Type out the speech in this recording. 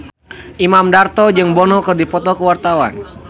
Imam Darto jeung Bono keur dipoto ku wartawan